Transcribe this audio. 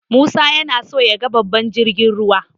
Musa yana so yaga babban jirgin ruwa.